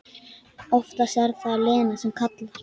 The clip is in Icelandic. En oftast er það Lena sem kallar.